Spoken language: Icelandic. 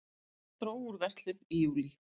Dró úr verslun í júlí